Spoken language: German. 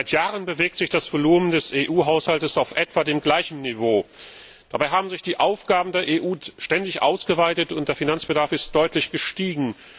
Seit Jahren bewegt sich das Volumen des EU Haushalts auf etwa dem gleichen Niveau. Dabei haben sich die Aufgaben der EU ständig ausgeweitet, und der Finanzbedarf ist deutlich gestiegen.